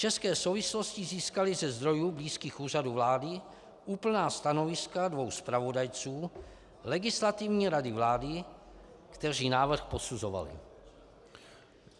České souvislosti získaly ze zdrojů blízkých Úřadu vlády úplná stanoviska dvou zpravodajců Legislativní rady vlády, kteří návrh posuzovali.